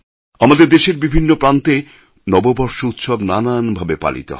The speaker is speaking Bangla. আমাদের দেশের বিভিন্ন প্রান্তে নববর্ষ উৎসব নানান ভাবে পালিত হয়